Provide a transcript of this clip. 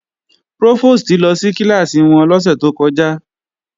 Prófòstì lọ sí kíláàsì wọn lọ́sẹ̀ tó kọjá